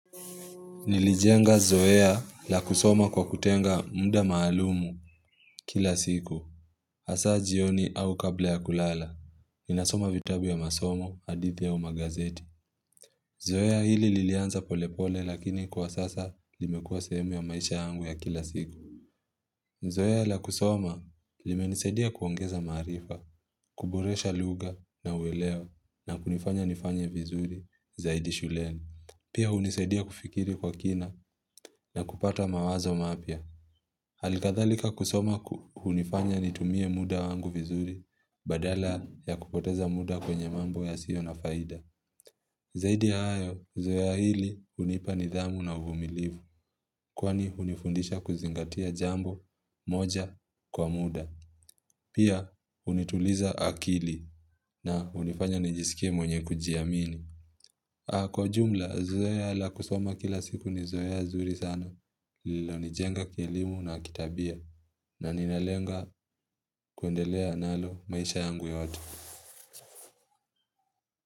Nilijenga zoea la kusoma kwa kutenga muda maalumu kila siku. Asa jioni au kabla ya kulala. Ninasoma vitabu ya masomo, hadithi au magazeti. Zoea hili lilianza pole pole lakini kwa sasa limekua sehemu ya maisha yangu ya kila siku. Zoea la kusoma limenisaidia kuongeza maarifa, kuboresha luga na uelewa na kunifanya nifanya vizuri zaidi shuleni. Pia hunisaidia kufikiri kwa kina na kupata mawazo mapya Halikadhalika kusoma hunifanya nitumie muda wangu vizuri Badala ya kupoteza muda kwenye mambo yasio na faida Zaidi hayo, zoea hili hunipa nidhamu na uvumilivu Kwani hunifundisha kuzingatia jambo moja kwa muda Pia hunituliza akili na hunifanya nijisikie mwenye kujiamini kwa jumla, zoea la kusoma kila siku ni zoea zuri sana, lilo nijenga kielimu na kitabia, na ninalenga kuendelea nalo maisha yangu yote.